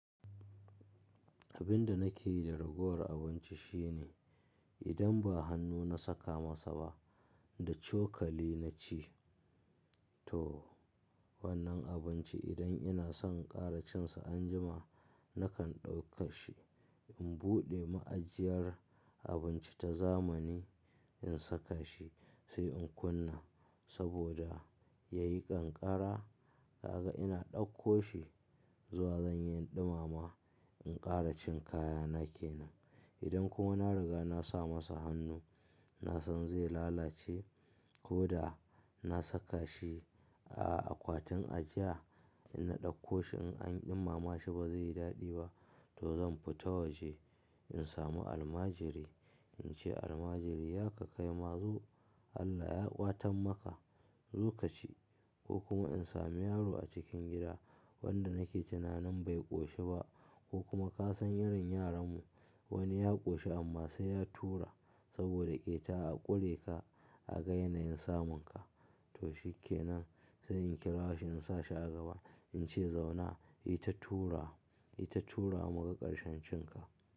Abin da nakeyi da ragowar abinci shine idan ba hannu na saka masa ba da cokali na ci. To wannan abinci idan ina son ƙara cin sa anjima nakan ɗauka shi in buɗe ma'ajiyar abinci ta zamani in saka shi sai in kunna saboda ya yi ƙanƙara. Kaga ina ɗauko shi zuwa zan yi in ɗumama in ƙara cin kaya na ke nan. Idan kuma na riga na sa masa hannu na san zai lalace ko da na saka shi a akwatin ajiya inna ɗauko shi in an ɗumama shi ba zai yi daɗi ba to zan fita waje in samu almajiri in ce almajiri ya ka kai ma zo Allah ya kwatan maka zo ka ci ko kuma in samu yaro a cikin gida wanda nake tunanin bai ƙoshi ba ko kuma ka san irin yaran mu wani ya ƙoshi amma sai ya tura saboda ƙeta a kure ka a ga yanayin samun ka. To shi ke nan sai in kira shi in sa shi a gaba in ce zauna yi ta tura, yi ta turawa mu ga ƙarshen cin ka.